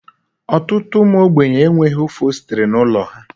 Ọtụtụ ụmụ ogbenye e nweghị ofostiri n'ụlọ ha.